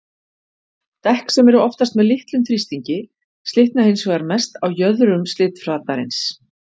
Dekk sem eru oftast með litlum þrýstingi slitna hins vegar mest á jöðrum slitflatarins.